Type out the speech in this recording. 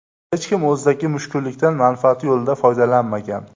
Hech kim o‘zidagi mushkullikdan manfaati yo‘lida foydalanmagan.